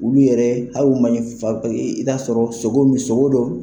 Olu yɛrɛ i bi t'a sɔrɔ sogo min sogo dɔ.